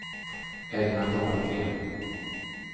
Elna Dahlgren